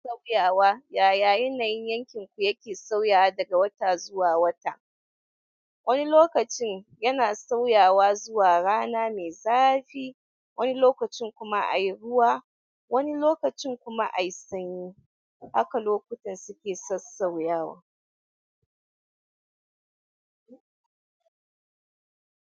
Sauyawa Yaya yanayin yankin ku yake sauyawa daga wata zuwa wata? Wani lokacin yana sauyawa zuwa rana mai zafi, wani lokacin kuma a yi ruwa, wani lokacin kuma a yi sanyi. Haka lokutan suke sassauyawa.